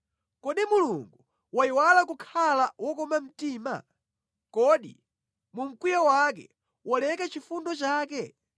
Kodi Mulungu wayiwala kukhala wokoma mtima? Kodi mu mkwiyo wake waleka chifundo chake?”